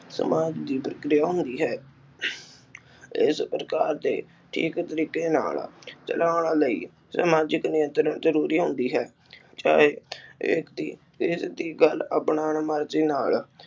ਸਮਾਜ ਦੀ ਹੋਈ ਹੈ। ਇਸ ਪ੍ਰਕਾਰ ਤੇ ਇਕ ਤਰੀਕੇ ਨਾਲ ਚਲਾਉਣ ਲਈ ਸਮਾਜਿਕ ਨਿਯੰਤਰਣ ਜਰੂਰੀ ਹੁੰਦੀ ਹੈ। ਚਾਹੇ ਇਕ ਦੀ ਇਸ ਦੀ ਗੱਲ ਅਪਨਾਓਣ ਮਰਜੀ ਨਾਲ